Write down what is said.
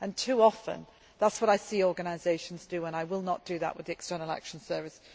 Too often, that is what I see organisations doing and I will not do that with the External Action Service.